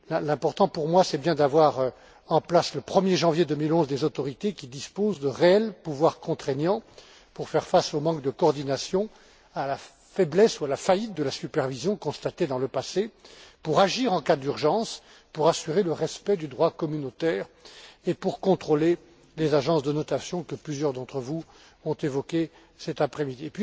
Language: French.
L'important pour moi, c'est bien d'avoir en place, le 1er janvier 2011, des autorités qui disposent de réels pouvoirs contraignants pour faire face au manque de coordination, à la faiblesse ou à la faillite de la supervision constatée dans le passé, pour agir en cas d'urgence, pour assurer le respect du droit communautaire et pour contrôler les agences de notation que plusieurs d'entre vous ont évoquées cet après midi.